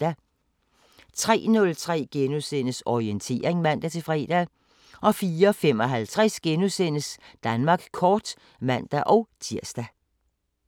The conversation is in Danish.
03:03: Orientering *(man-fre) 04:55: Danmark kort *(man-tir)